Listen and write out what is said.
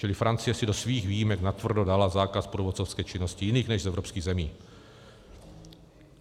Čili Francie si do svých výjimek natvrdo dala zákaz průvodcovské činnosti jiných než z evropských zemí.